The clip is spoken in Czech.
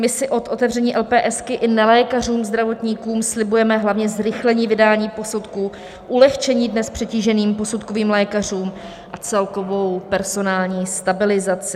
My si od otevření LPS i nelékařům zdravotníkům slibujeme hlavně zrychlení vydání posudku, ulehčení dnes přetíženým posudkovým lékařům a celkovou personální stabilizaci.